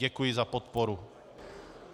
Děkuji za podporu.